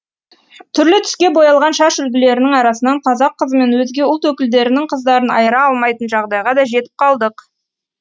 түрлі түске боялған шаш үлгілерінің арасынан қазақ қызы мен өзге ұлт өкілдерінің қыздарын айыра алмайтын жағдайға да жетіп қалдық